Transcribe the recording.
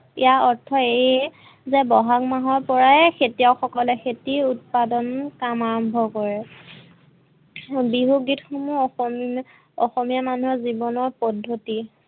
ইয়াৰ অৰ্থ এইয়ে যে বহাগ মাহৰ পৰাই খেতিয়ক সকলে খেতি উৎপাদন কাম আৰম্ভ কৰে। বিহু গীত সমূহ অসমীয়া মানুহৰ জীৱনৰ পদ্ধতি